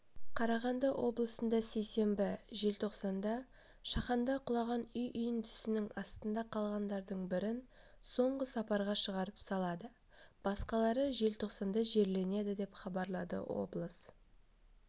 қарағанды облысында сейсенбі желтоқсанда шаханда құлаған үй үйіндісінің астында қалғандардың бірін соңғы сапарға шығарып салады басқалары желтоқсанда жерленеді деп хабарлады облыс